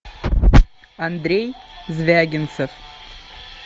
андрей звягинцев